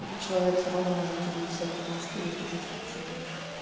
этот человек все равно может тебе писать потому что есть уже сообщение